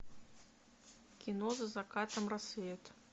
кино за закатом рассвет